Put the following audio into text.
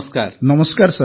ଡା ନାୱିଦ୍ ନମସ୍କାର ସାର୍